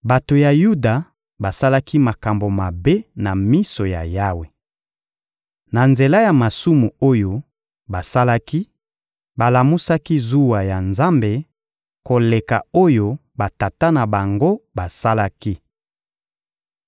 Bato ya Yuda basalaki makambo mabe na miso ya Yawe. Na nzela ya masumu oyo basalaki, balamusaki zuwa ya Nzambe koleka oyo batata na bango basalaki.